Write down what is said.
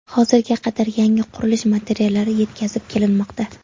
Hozirga qadar yangi qurilish materiallari yetkazib kelinmoqda.